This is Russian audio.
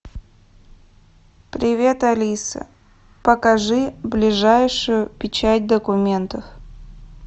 привет алиса покажи ближайшую печать документов